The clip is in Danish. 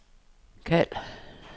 kald